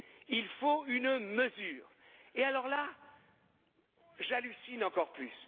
Il faut une mesure, et alors là, j'hallucine encore plus.